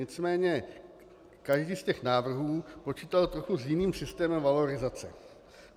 Nicméně každý z těch návrhů počítal s trochu jiným systémem valorizace.